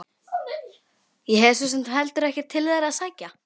Ég hef svo sem heldur ekkert til þeirra að sækja.